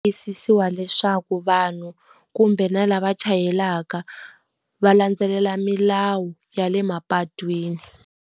Tiyisisiwa leswaku vanhu kumbe na lava chayelaka, va landzelela milawu ya le mapatwini.